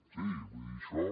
sí vull dir això